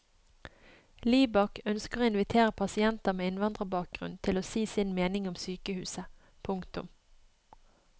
Libak ønsker å invitere pasienter med innvandrerbakgrunn til å si sin mening om sykehuset. punktum